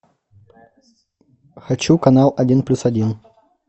хочу канал один плюс один